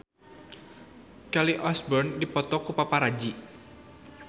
Kelly Osbourne dipoto ku paparazi